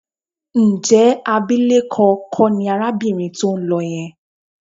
Ǹjẹ́ abilékọ kọ́ ni arábìnrin tó ń lọ yẹn?